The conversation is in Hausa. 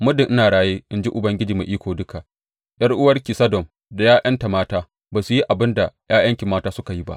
Muddin in raye, in ji Ubangiji Mai Iko Duka, ’yar’uwarki Sodom da ’ya’yanta mata ba su yi abin da ’ya’yanki mata suka yi ba.